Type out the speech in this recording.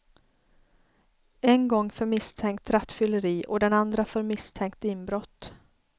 En gång för misstänkt rattfylleri och den andra för misstänkt inbrott.